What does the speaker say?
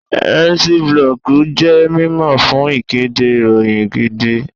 Mciiblog jẹ́ mímọ̀ fún ìkéde ìròyìn gidi